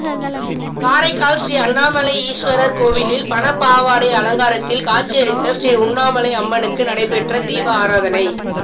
காரைக்கால் ஸ்ரீ அண்ணாமலை ஈஸ்வரா் கோயிலில் பணப்பாவாடை அலங்காரத்தில் காட்சியளித்த ஸ்ரீ உண்ணாமலை அம்மனுக்கு நடைபெற்ற தீபாராதனை